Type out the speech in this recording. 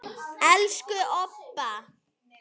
Elsku Obba.